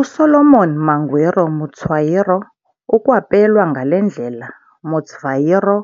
USolomon Mangwiro Mutswairo ukwapelwa ngale ndlela Mutsvairo,